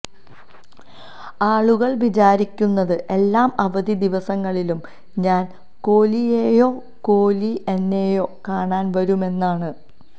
ആളുകള് വിചാരിക്കുന്നത് എല്ലാ അവധി ദിവസങ്ങളിലും ഞാന് കോലിയേയോ കോലി എന്നെയേയോ കാണാന് വരുമെന്നാണ്